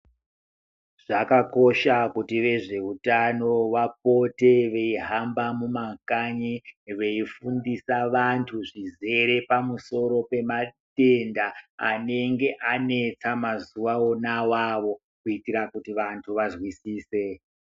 Zvakakosha kuti vezvehutano vapote veihamba mumakanyi, veifundisa vantu zvizere pamusoro pematenda anenge anetsa mazuva ona awawo kuitira kuti vantu vanzwisise.